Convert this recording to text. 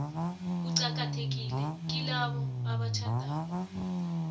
uqakathekile kilabo abatjhadako